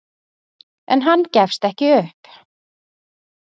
En hann gefst ekki upp.